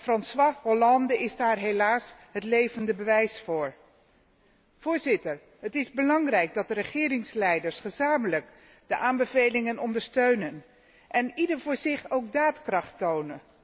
François Hollande is daar helaas het levende bewijs voor. Voorzitter, het is belangrijk dat de regeringsleiders gezamenlijk de aanbevelingen ondersteunen en ieder voor zich ook daadkracht toont.